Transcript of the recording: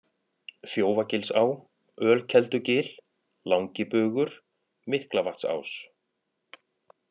Þjófagilsá, Ölkeldugil, Langibugur, Miklavatnsás